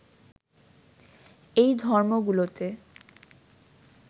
এই ধর্মগুলোতে